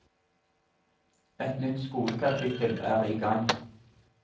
Et nytt skolekapittel er i gang.